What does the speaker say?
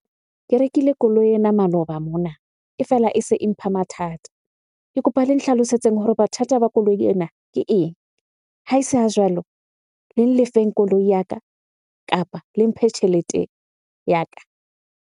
Ke rekile koloi ena maloba mona e fela e se e mpha mathata. Ke kopa le nhlalosetseng hore ba koloi ena ke eng? Ha e se ha jwalo, le lefeng koloi ya ka kapa le mphe tjhelete ya ka.